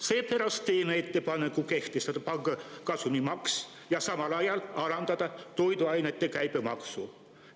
Seepärast teeme ettepaneku kehtestada panga kasumimaks ja samal ajal alandada toiduainete käibemaksu.